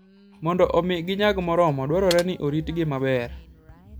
Mondo omi ginyag moromo, dwarore ni oritgi maber.